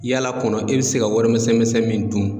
Yaala kɔnɔ e bɛ se ka wari misɛnmisɛn min dun.